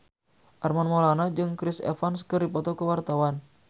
Armand Maulana jeung Chris Evans keur dipoto ku wartawan